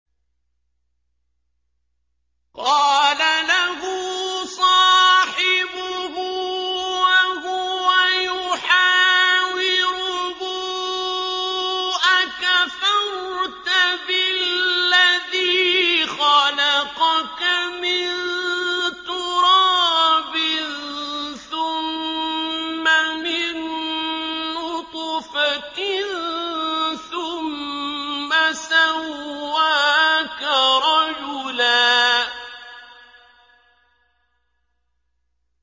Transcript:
قَالَ لَهُ صَاحِبُهُ وَهُوَ يُحَاوِرُهُ أَكَفَرْتَ بِالَّذِي خَلَقَكَ مِن تُرَابٍ ثُمَّ مِن نُّطْفَةٍ ثُمَّ سَوَّاكَ رَجُلًا